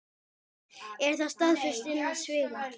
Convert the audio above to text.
Er það staðfest innan sviga?